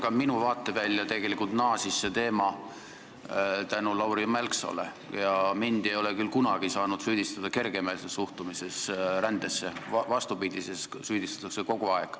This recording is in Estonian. Ka minu vaatevälja tegelikult naasis see teema tänu Lauri Mälksoole ja mind ei ole küll kunagi saanud süüdistada kergemeelses suhtumises rändesse, vastupidises süüdistatakse kogu aeg.